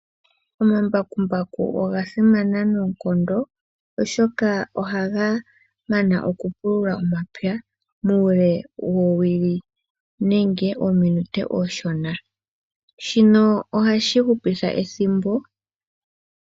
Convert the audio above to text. Omambakumbaku oga simana noonkondo ooshoka ohaga mana oku pulula omapya muule woowili nenge ominute omishona ,shino ohashi hupitha ethimbo .